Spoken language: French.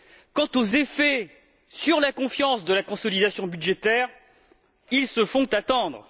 Quant aux effets sur la confiance de la consolidation budgétaire, ils se font attendre.